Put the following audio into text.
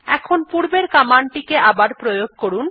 এখন পূর্বের কমান্ড টিকে আবার প্রয়োগ করুন